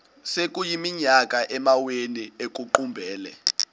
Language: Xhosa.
sekuyiminyaka amawenu ekuqumbele